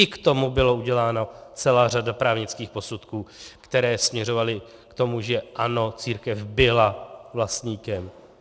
I k tomu byla udělána celá řada právnických posudků, které směřovaly k tomu, že ano, církev byla vlastníkem.